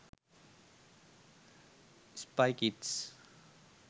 spy kids